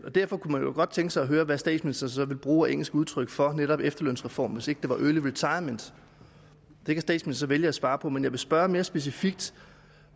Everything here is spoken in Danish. derfor kunne man jo godt tænke sig at høre hvad statsministeren så ville bruge af engelsk udtryk for netop efterlønsreformen hvis ikke det var early retirement det kan statsministeren så vælge at svare på men jeg vil spørge mere specifikt